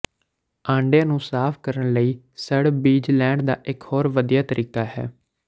ਆਂਡਿਆਂ ਨੂੰ ਸਾਫ ਕਰਨ ਲਈ ਸਣ ਬੀਜ ਲੈਣ ਦਾ ਇੱਕ ਹੋਰ ਵਧੀਆ ਤਰੀਕਾ ਹੈ